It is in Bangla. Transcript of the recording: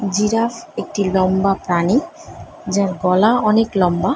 জিরাফ একটি লম্বা প্রাণী ।যার গলা অনেক লম্বা ।